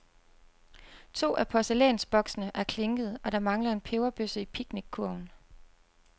To af porcelænsboksene er klinkede og der mangler en peberbøsse i picnickurven.